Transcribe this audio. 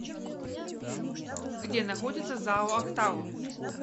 где находится зао актау